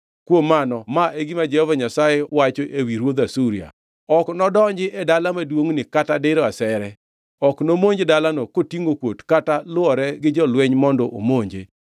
“Kuom mano ma e gima Jehova Nyasaye wacho ewi ruodh Asuria: “ ‘Ok nodonji e dala maduongʼni kata diro asere. Ok nomonj dalano kotingʼo kuot kata lwore gi jolweny mondo omonje.